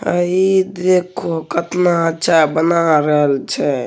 आइ देखो कितना अच्छा बना रहल झे |